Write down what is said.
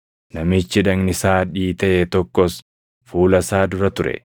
Namichi dhagni isaa dhiitaʼe tokkos fuula isaa dura ture.